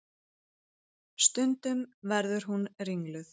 Stundum verður hún ringluð.